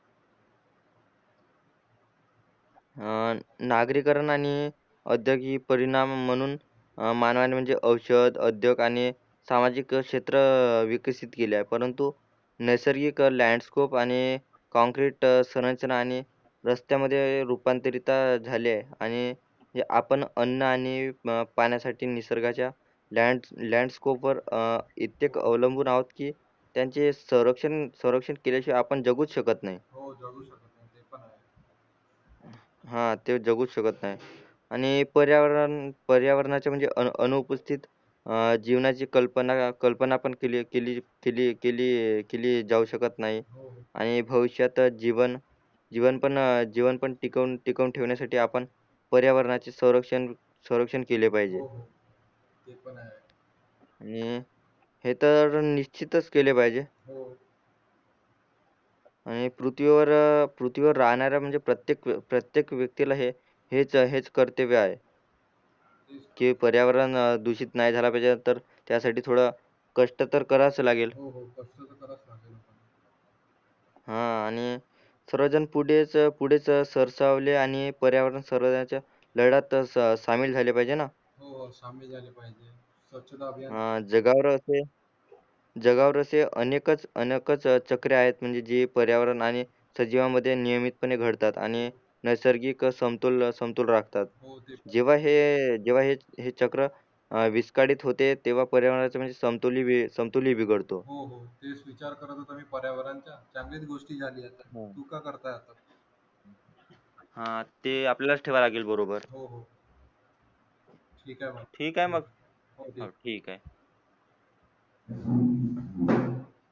हा नागरीकरण आणि औधोगी परिणाम म्हणून अ मानवाने म्हणजे औषध, औधयोग आणि सामजिक जे क्षेत्र विकसित केले आहे परंतु नैसर्गिक लॅडस्कोप आणि कोंकरीट संरचना